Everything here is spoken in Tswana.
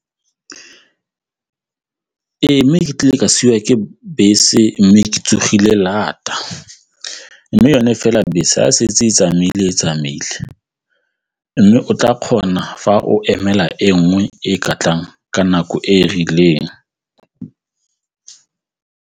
Ee, nkile ka siwa ke bese mme ke tsogile lata mme yone fela bese a setse e tsamaile mme o tla kgona fa o emela e nngwe e ka tlang ka nako e e rileng.